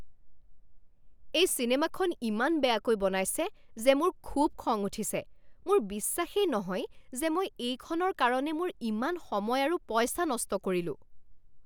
এই চিনেমাখন ইমান বেয়াকৈ বনাইছে যে মোৰ খুব খং উঠিছে। মোৰ বিশ্বাসেই নহয় যে মই এইখনৰ কাৰণে মোৰ ইমান সময় আৰু পইচা নষ্ট কৰিলো।